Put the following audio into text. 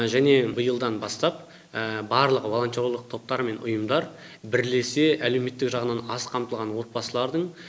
және биылдан бастап барлық волонтерлық топтар мен ұйымдар бірлесе әлеуметтік жағынан аз қамтылған отбасылардың